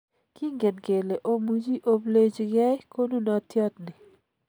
Kingen kele omuchi oplechi ge konunotyot ni